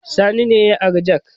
Sani ne ya ari jak